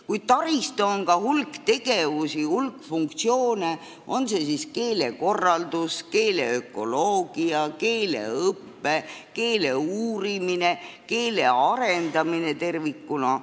Kuid taristu on ka hulk tegevusi ja hulk funktsioone, on see siis keelekorraldus, keele ökoloogia, keeleõpe, keele uurimine või keele arendamine tervikuna.